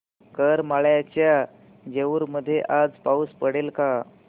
करमाळ्याच्या जेऊर मध्ये आज पाऊस पडेल का